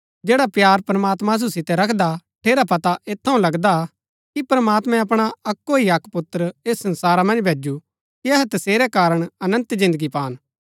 जैडा प्‍यार प्रमात्मां असु सितै रखदा ठेरा पता ऐत थऊँ लगदा कि प्रमात्मैं अपणा अक्‍को ही अक्क पुत्र ऐस संसारा मन्ज भेज्‍जू कि अहै तसेरै कारण अनन्त जिन्दगी पान